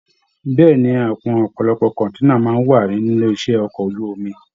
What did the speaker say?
Bẹ̀ẹ́ni, ọpọlọpọ àwọn kọ̀nténà máa n wà nílé iṣẹ ọkọ̀ ojú omi.